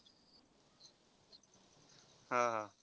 हा हा.